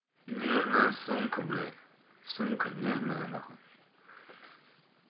нежное сумку блять сумка нервная н